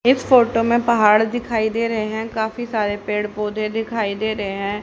इस फोटो में पहाड़ दिखाई दे रहे हैं काफी सारे पेड़ पौधे दिखाई दे रहे हैं।